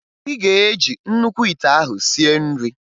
Ị ga-eji nnukwu ite ahụ sie nri!